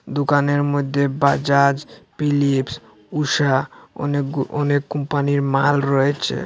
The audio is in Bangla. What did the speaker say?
দোকানের মধ্যে বাজাজ ফিলিপস ঊষা অনেক গু অনেক কোম্পানি র মাল রয়েছে।